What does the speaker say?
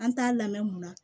An t'a lamɛn mun na